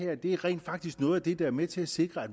at det her rent faktisk er noget af det der er med til at sikre at